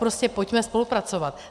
Prostě pojďme spolupracovat.